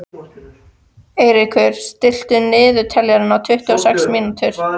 Eiríkur, stilltu niðurteljara á tuttugu og sex mínútur.